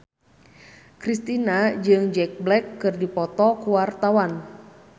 Kristina jeung Jack Black keur dipoto ku wartawan